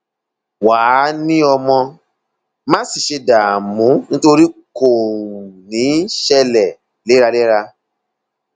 wàá ní ọmọ má sì ṣe dààmú nítorí kò um ní ṣṣẹlẹ léraléra